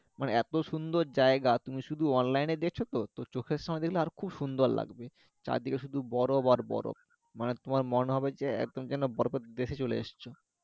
মানে এত সুন্দর জায়গা তুমি শুধু Online এ দেখছোত তো চোখের সামনে দেখলে আরো খুব সুন্দর লাগবে। চারদিকে শুধু বরফ আর বরফ মানে তোমার মনে হবে যে একদম যেন বরফের দেশে চলে এসছো